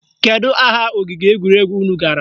Kedu aha ogige egwuregwu unu gara?